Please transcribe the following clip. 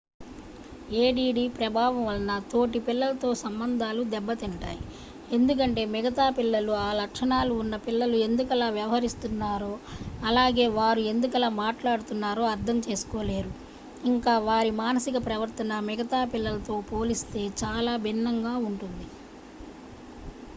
add ప్రభావం వలన తోటి పిల్లలతో సంబంధాలు దెబ్బ తింటాయి ఎందుకంటే మిగతా పిల్లలు ఆ లక్షణాలు ఉన్న పిల్లలు ఎందుకలా వ్యవహరిస్తున్నారో అలాగే వారు ఎందుకలా మాట్లాడుతున్నారో అర్థం చేసుకోలేరు ఇంకా వారి మానసిక ప్రవర్తన మిగతా పిల్లలతో పోలిస్తే చాలా భిన్నంగా ఉంటుంది